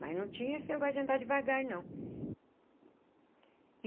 Mas não tinha esse negócio de andar devagar, não.